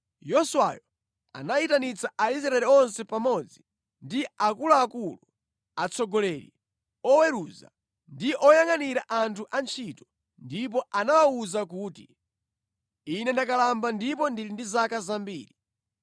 Yoswayo anayitanitsa Aisraeli onse pamodzi ndi akuluakulu, atsogoleri, oweruza, ndi oyangʼanira anthu antchito ndipo anawawuza kuti, “Ine ndakalamba ndipo ndili ndi zaka zambiri.